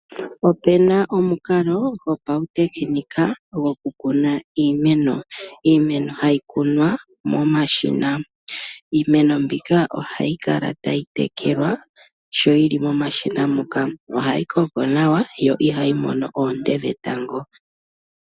Opena omukalo gopautekinika gokukuna iimeno. Iimeno ohayi kunwa momashina. Iimeno mbika ohayi kala tayi tekelwa sho yili momashina moka. Ohayi koko nawa yo ihayi mono oonte dhetango.